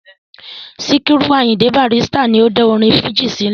Sikiru Ayinde Barrister ni ó dá orin fújì sílẹ̀.